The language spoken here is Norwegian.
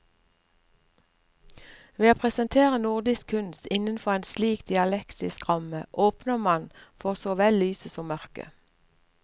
Ved å presentere nordisk kunst innenfor en slik dialektisk ramme åpner man for så vel lyset som mørket.